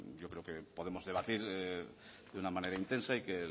yo creo que podemos debatir de una manera intensa y que